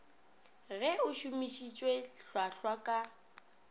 ge o šomišitše hlwahlwa ka